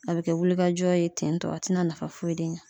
A be kɛ wulikajɔ ye ten tɔ a te na nafa foyi de ɲa.